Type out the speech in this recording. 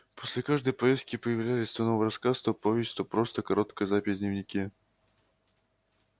после каждой поездки появлялись то новый рассказ то повесть то просто короткая запись в дневнике